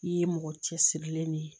I ye mɔgɔ cɛsirilen de ye